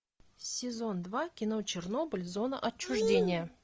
сезон два кино чернобыль зона отчуждения